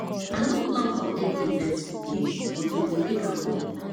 i no plan for any event today but we go make am work